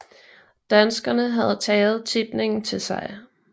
Danskerne havde taget tipningen til sig